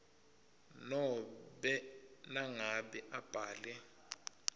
nobe nangabe abhale